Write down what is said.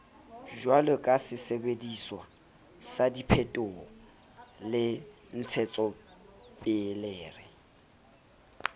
jwalokasesebdiswa sa diphethoho le ntshetsopelere